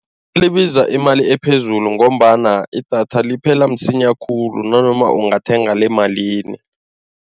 Libiza imali ephezulu ngombana idatha liphela msinya khulu nanoma ungathenga lemalini.